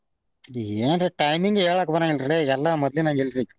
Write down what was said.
ಏನ್ರೀ timing ಹೇಳಾಕ ಬರಾಂಗಿಲ್ಲ ರೀ ಎಲ್ಲಾ ಮೊದ್ಲಿನಾಗ್ ಇರ್ಲಿ ಈಗ.